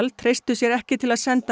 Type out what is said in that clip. treystu sér ekki til að senda